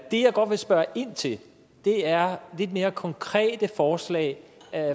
godt vil spørge ind til er lidt mere konkrete forslag